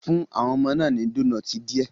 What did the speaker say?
Fún àwọn ọmọ náà ní donoiti díẹ̀